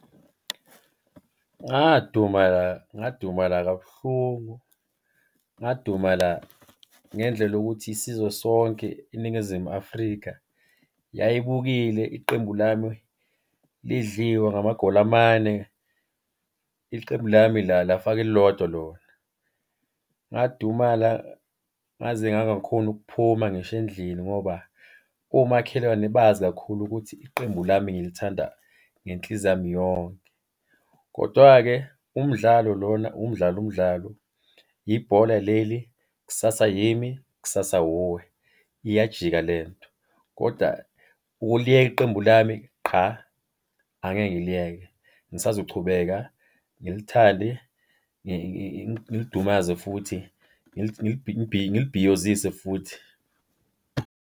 Ngadumala ngadumala kabuhlungu, ngadumala ngendlela yokuthi isizwe sonke iNingizimu Afrika yayibukile iqembu lami lidliwa ngamagoli amane. Iqembu lami lafaka elilodwa lona. Ngadumala ngaze ngangakhoni ukuphuma ngisho endlini ngoba omakhelwane bazi kakhulu ukuthi iqembu lami ngilithanda ngenhliziyo yami yonke. Kodwa-ke umdlalo lona, umdlalo umdlalo, yibhola leli, kusasa yimi, kusasa wuwe, iyajika le nto. Koda ukuliyeka iqembu lami qha, angeke ngiliyeke ngisazochubeka ngilithande, ngilidumaze futhi, ngilibhiyozise futhi.